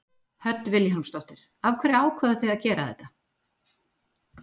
Hödd Vilhjálmsdóttir: Af hverju ákváðuð þið að gera þetta?